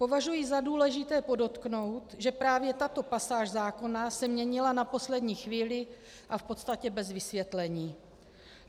Považuji za důležité podotknout, že právě tato pasáž zákona se měnila na poslední chvíli a v podstatě bez vysvětlení.